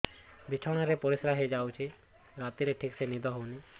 ବିଛଣା ରେ ପରିଶ୍ରା ହେଇ ଯାଉଛି ରାତିରେ ଠିକ ସେ ନିଦ ହେଉନାହିଁ